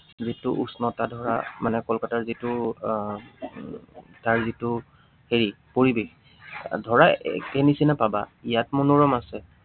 যিটো উষ্ণতা ধৰা মানে কলকাতাৰ যিটো আহ তাৰ যিটো হেৰি পৰিৱেশ, ধৰা একেই নিচিনা পাবা, ইয়াত মনোৰম আছে